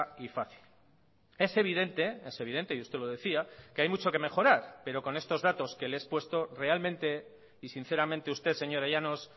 y fácil es evidente es evidente y usted lo decía que hay mucho que mejorar pero con estos datos que le he expuesto realmente y sinceramente usted señora llanos